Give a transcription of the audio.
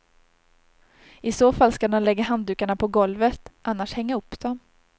I så fall ska de lägga handdukarna på golvet, annars hänga upp dem.